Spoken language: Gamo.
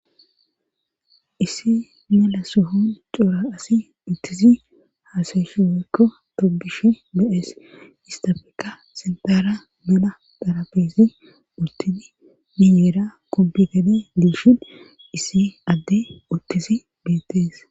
Issi melasuhon cora asi uttisi haasayshi weykko tobish be'ees istafeka sintaara mena darabesi uttini mineera kompigade diishin issi adde uttisi beettees.